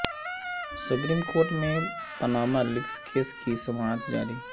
supreme court میں Panama leaks case کی سماعت جاری